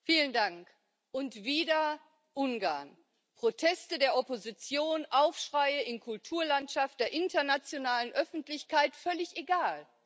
Herr Präsident! Und wieder Ungarn! Proteste der Opposition, Aufschreie in der Kulturlandschaft der internationalen Öffentlichkeit völlig egal.